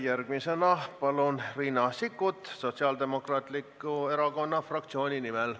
Järgmisena Riina Sikkut Sotsiaaldemokraatliku Erakonna fraktsiooni nimel.